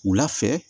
Wula fɛ